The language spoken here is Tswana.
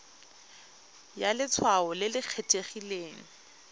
ya letshwao le le kgethegileng